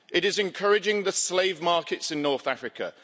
It is encouraging the slave markets in North Africa.